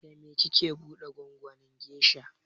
Da me kike buɗe gwangwanin gesha?